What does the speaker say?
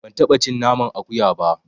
Ban taɓa cin naman akuya ba.